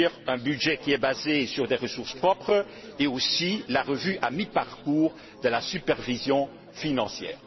un budget qui est basé sur des ressources propres et aussi l'examen à mi parcours de la supervision financière.